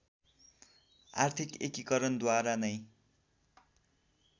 आर्थिक एकीकरणद्वारा नै